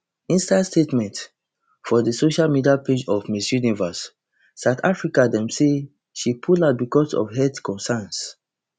inside statement for di social media page of miss universe south africa dem say she pull out because of health concerns